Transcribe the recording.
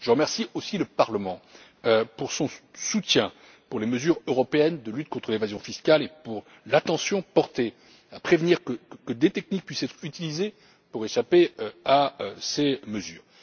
Je remercie aussi le Parlement pour son soutien envers les mesures européennes de lutte contre l'évasion fiscale et pour l'attention portée à prévenir que des techniques puissent être utilisées pour échapper à ces mesures.